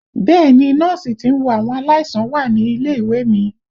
Bẹ́ẹ̀ni Nọ́ọ̀sì tí ń wo àwọn aláìsàn wà nílé ìwé mi